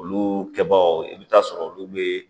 Olu kɛbaaw i bɛ taa sɔrɔ olu bɛ